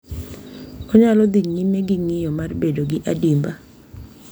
Onyalo dhi nyime gi ng’iyo mar bedo gi adimba,